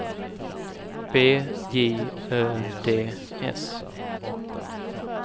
B J Ö D S